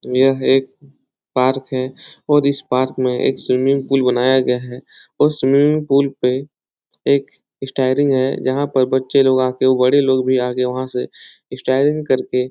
यह एक पार्क है और इस पार्क में एक स्विमिंग पूल बनाया गया है और स्विमिंग पूल पे एक स्टेरिंग है यहाँ पर बच्चे लोग आकर बड़े लोग भी आके वहाँ से स्टेरिंग करके --